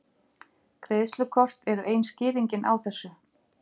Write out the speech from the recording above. Greiðslukort eru ein skýringin á þessu.